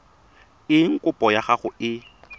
eng kopo ya gago e